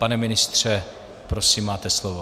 Pane ministře, prosím, máte slovo.